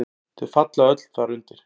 Þau falla öll þar undir.